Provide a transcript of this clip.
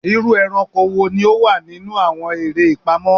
Iru eranko wo ni o wa ninu awọn ere ipamọ?